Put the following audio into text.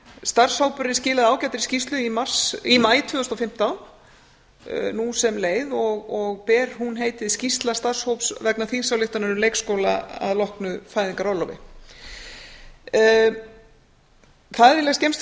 starfshópurinn skilaði ágætri skýrslu sinni í maí tvö þúsund og fimmtán nú sem leið og ber hún heitið skýrsla starfshóps vegna þingsályktunar um leikskóla að loknu fæðingarorlofi það er eiginlega skemmst